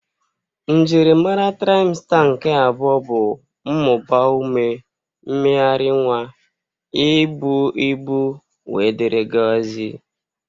Njiri mara traịmsta nke abụọ bụ mmụba ume, mmegharị nwa, ibu ibu wdg.